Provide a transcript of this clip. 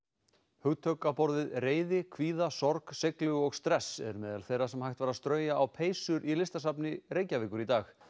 hugtök á borð við reiði kvíða sorg seiglu og stress eru meðal þeirra sem hægt var að strauja á peysur í Listasafni Reykjavíkur í dag